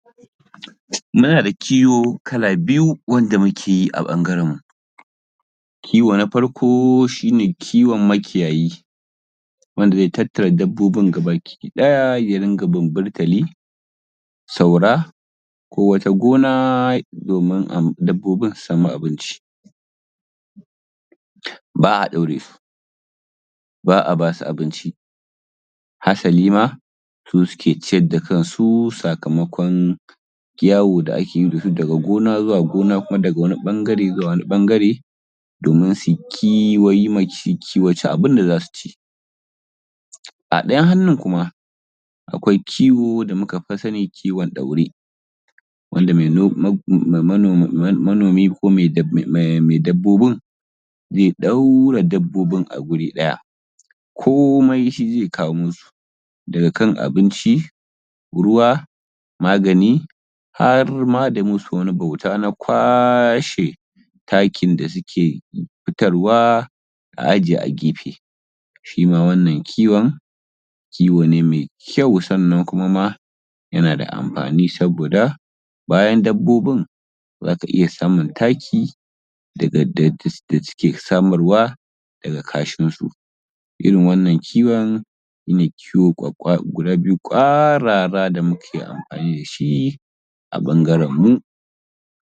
Muna da kiwo Kala biyu wanda mukeyi a ɓangaren mu. Kiwo na farko shine kiwon makiyayi, wanda zai tattara dabbobin gabaki ɗaya ya riƙa bunbulkali, saura ko wata gona domin dabbobin su samu abinci. Ba’a ɗaure su, ba’a basu abinci hassali ma suke ciyar da kansu sakamakon yawo da akeyi dasu daga gona zuwa gona ko kuma daga wani ɓangare zuwa wani ɓangare domin suyi kiwo su kiwaci abunda zasu ci. A ɗayan hannun kuma akwai kiwo da muka fi sani kiwon ɗaure wanda manomi ko mai dabbobin zai ɗaure dabbobin a guri ɗaya komai shi zai kawo masu daga kan abinci, ruwa, magani. Harma da masu wata bauta na kwashe takin da suke fitar wa a ajiye a gefe. Shima wannan kiwon kiwo ne mai kyau sannan kuma ma yanada amfani saboda bayan dabbobin zaka iya samun taki da suke samarwa daga kashin su. Irin wannan kiwon shine kiwo ƙwarara guda biyu da muke amfani dashi a ɓangaren mu.